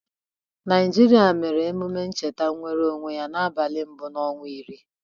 Naịjịrịa mere emume ncheta nwereonwe ya n'abalị mbụ n'ọnwa iri.